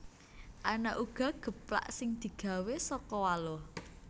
Ana uga geplak sing digawé saka waluh